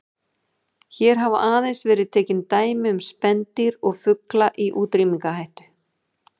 Hér hafa aðeins verið tekin dæmi um spendýr og fugla í útrýmingarhættu.